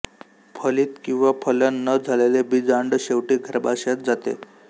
फलित किंवा फलन न झालेले बीजांड शेवटी गर्भाशयात जाते